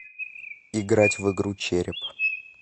играть в игру череп